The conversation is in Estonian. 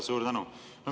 Suur tänu!